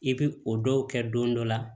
I bi o dɔw kɛ don dɔ la